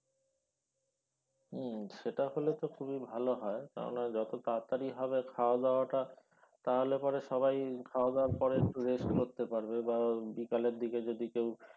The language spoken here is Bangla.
হম সেটা হলে তো খুবই ভালো হয় কেননা যত তাড়াতাড়ি হবে খাওয়া-দাওয়া টা তাহলে পরে সবাই খাওয়া-দাওয়ার পরে একটু rest করতে পারবে বা বিকালের দিকে যদি কেউ